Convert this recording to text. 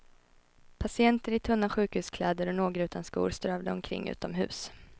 Patienter i tunna sjukhuskläder och några utan skor strövade omkring utomhus.